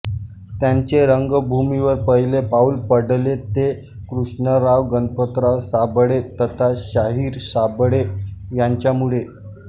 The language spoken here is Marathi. त्यांचे रंगभूमीवर पहिले पाऊल पडले ते कृष्णराव गणपतराव साबळे तथा शाहीर साबळे यांच्यामुळे